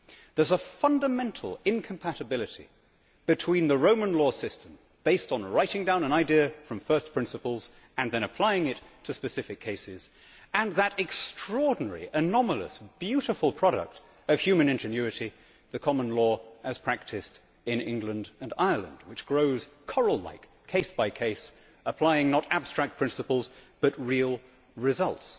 There is a fundamental incompatibility between the Roman law system, based on writing down an idea from first principles and then applying it to specific cases and that extraordinary, anomalous, beautiful product of human ingenuity, the common law, as practised in England and Ireland, which grows coral like, case by case, applying not abstract principles but real results.